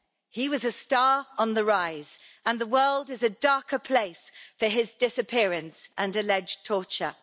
He was a star on the rise and the world is a darker place for his disappearance and alleged torture.